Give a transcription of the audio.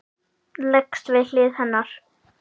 Leggst við hlið hennar.